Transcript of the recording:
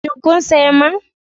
Shin kun sayi man?